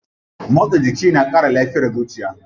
Motsa jiki na kara lafiyar zuciya.